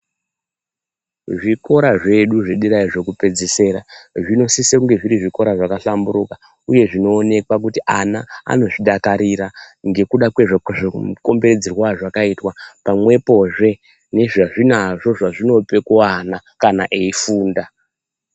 Zvikora zvedu zvedera zvekupedzisira zvinosise kunge zviri zvikora zvakahlamburuka uye zvinoonekwa kuti ana anozvidakarira ngekuda ngekukombedzerwa kwazvakaitwa pamwepohe nezvazvinazvo zvazvinope kuana kana eifunda